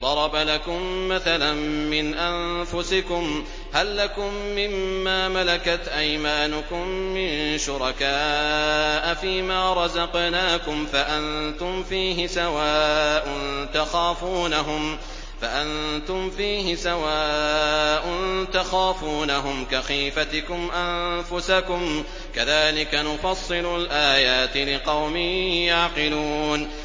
ضَرَبَ لَكُم مَّثَلًا مِّنْ أَنفُسِكُمْ ۖ هَل لَّكُم مِّن مَّا مَلَكَتْ أَيْمَانُكُم مِّن شُرَكَاءَ فِي مَا رَزَقْنَاكُمْ فَأَنتُمْ فِيهِ سَوَاءٌ تَخَافُونَهُمْ كَخِيفَتِكُمْ أَنفُسَكُمْ ۚ كَذَٰلِكَ نُفَصِّلُ الْآيَاتِ لِقَوْمٍ يَعْقِلُونَ